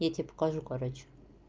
я тебе покажу короче